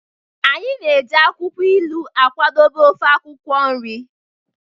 Anyị na-eji akwukwo ilu akwadebe ofe akwukwo nri